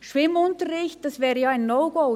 Schwimmunterricht: Das wäre ja ein No-Go.